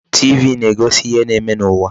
TV na-egosi ihe na-eme n'ụwa.